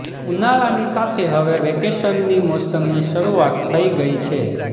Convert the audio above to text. ઉનાળાની સાથે હવે વેકેશનની મોસમની શરૃઆત થઇ ગઇ છે